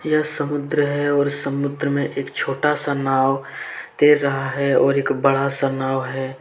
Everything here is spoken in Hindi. यह समुद्र है और समुद्र में एक छोटा सा नाव तैर रहा है और एक बड़ा सा नाव है।